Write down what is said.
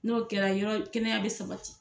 N'o kɛra yɔrɔ kɛnɛya bɛ sabati.